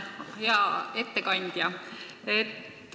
Hea ettekandja!